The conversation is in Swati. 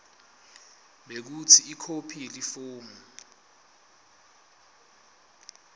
bekutsi ikhophi yalelifomu